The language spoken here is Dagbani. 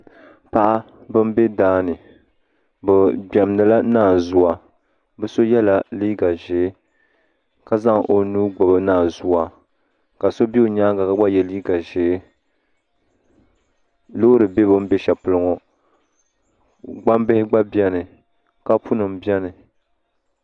Paɣaba n bɛ daani bi gbɛmdila naanzuwa bi so yɛla liiga ʒiɛ ka zaŋ o nuu gbubi naanzuwa ka so bɛ o nyaanga ka gba yɛ liiga ʒiɛ loori bɛ bi ni bɛ shɛli polo ŋo gbambili gba biɛni kapu nim biɛni